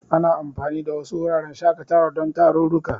Ana anfani da wasu wuraren shaƙatawar don tarurruka.